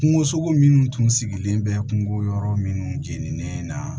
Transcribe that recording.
Kungosogo minnu tun sigilen bɛ kungo yɔrɔ minnu jeninen na